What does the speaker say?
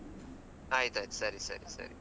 ಆಯ್ತಾಯ್ತು, ಸರಿ ಸರಿ ಸರಿ.